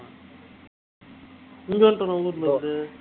அது